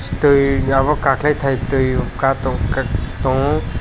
tui obo kakhwlai thai tui kai tongmo ka tongo.